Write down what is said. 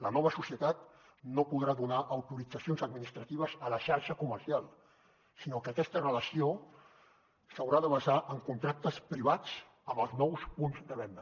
la nova societat no podrà donar autoritzacions administratives a la xarxa comercial sinó que aquesta relació s’haurà de basar en contractes privats amb els nous punts de venda